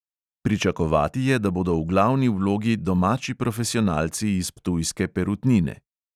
Pričakovati je, da bodo v glavni vlogi domači profesionalci iz ptujske perutnine.